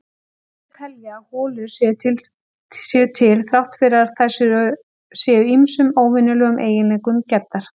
Aðrir telja að holur séu til þrátt fyrir að þær séu ýmsum óvenjulegum eiginleikum gæddar.